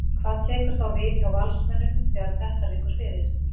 Hvað tekur þá við hjá Valsmönnum þegar að þetta liggur fyrir?